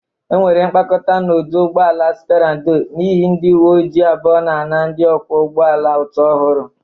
Enwere mkpakọta n'ọdụ ụgbọ ala Spera ndo n'ihe ndị uwe ojiii abụọ na-ana ndị ọkwọ ụgbọ ala ụtụ ọhụrụ.